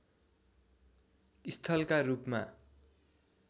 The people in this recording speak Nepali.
स्थलका रूपमा